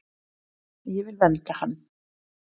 Ég vil vernda hann.